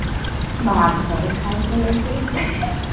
ভাত হ'ল, খাই কৈ আহি